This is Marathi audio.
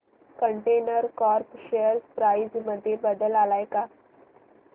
कंटेनर कॉर्प शेअर प्राइस मध्ये बदल आलाय का